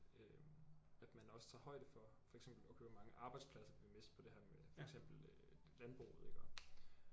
Øh at man også tager højde for for eksempel okay hvor mange arbejdspladser vil vi miste på det her med for eksempel øh landbruget iggå